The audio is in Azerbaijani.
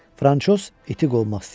Franşoz iti qovmaq istəyir.